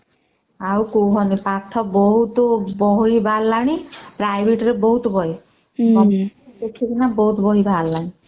ଆଉ କୁହନି ପାଠ ବହୁତ ବହି ବି ବାହାରିଲାଣି private ରେ ବହୁତ ବହି ଦେଖିକିନା ବହୁତ ବହି ବାହାରିଲାଣି